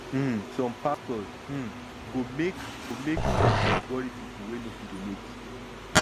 um som pastor um go make go make conscience wori pipol wey no fit donate